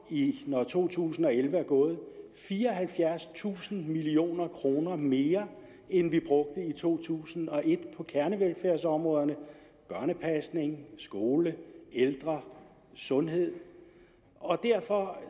når to tusind og elleve er gået fireoghalvfjerdstusind million kroner mere end vi brugte i to tusind og et på kernevelfærdsområderne børnepasning skole ældre sundhed og derfor